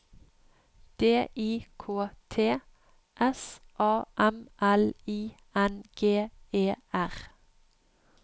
D I K T S A M L I N G E R